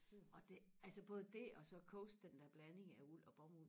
og det altså både det og så Coast den der blanding af uld og bomuld